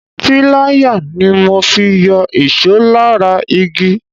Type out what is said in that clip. Pilaya ni mo fi yọ ìṣó lára igi.